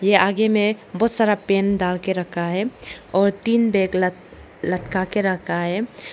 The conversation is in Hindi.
के आगे में बहुत सारा पेन डाल के रखा है और तीन बैग लट लटका के रखा है।